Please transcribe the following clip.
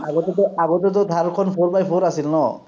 আগতেটো, আগতেটো THAR খন four by four আছিল ন?